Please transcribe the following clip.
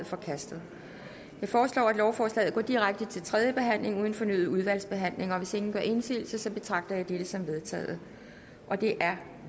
forkastet jeg foreslår at lovforslaget går direkte til tredje behandling uden fornyet udvalgsbehandling og hvis ingen gør indsigelse betragter jeg det som vedtaget det er